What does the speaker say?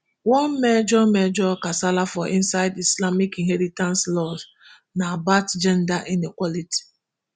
one major major kasala for inside islamic inheritance laws na about gender inequality